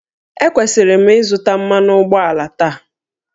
Ekwesịrị m ịzụta mmanụ ụgbọala taa?